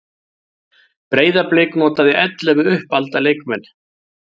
Breiðablik notaði ellefu uppalda leikmenn